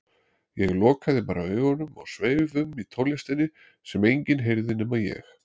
Ég lokaði bara augunum og sveif um í tónlistinni sem enginn heyrði nema ég.